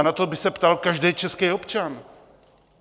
A na to by se ptal každý český občan.